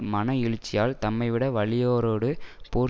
மன எழுச்சியால் தம்மைவிட வலியாரோடு போர்